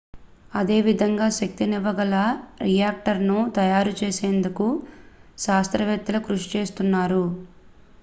అదే విధంగా శక్తినివ్వ గల రియాక్టర్ ను తయారు చేసేందుకు శాస్త్రవేత్తలు కృషి చేస్తున్నారు